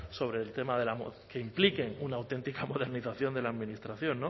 sobre el tema de la que impliquen una auténtica modernización de la administración